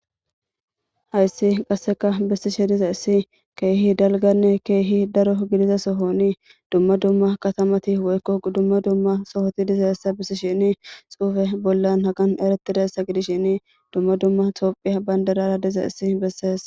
Hayssi qasseka bissishe diza issi keehi dalganne keehi daro gidiza sohoni dumma dumma katamati weykko dumma dumma sohoti diza issa bissi shini xuufe bollan hagan eretidaessa gidishin dumma dumma toophiya bandarara diza issi bessees.